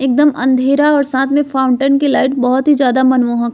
एकदम अंधेरा और साथ ही फाउंटेन की लाइट बहुत ही ज्यादा मनमोहक --